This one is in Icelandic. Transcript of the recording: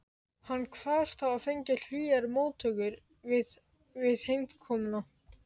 Hann kvaðst hafa fengið hlýjar móttökur við heimkomuna.